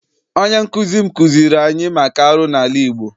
Onye nkụzi m kụziere anyị maka arụ n'ala Igbo.